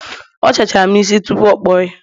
ọ sachara'm isi tupu o kpuo ya